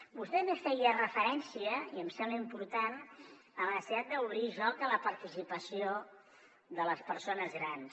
vostè també feia referència i em sembla important a la necessitat d’obrir joc a la participació de les persones grans